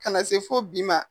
Ka na se fo bi ma.